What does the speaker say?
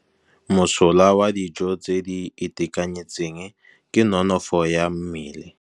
Mosola wa dijô tse di itekanetseng ke nonôfô ya mmele.